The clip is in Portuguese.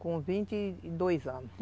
Com vinte e dois anos.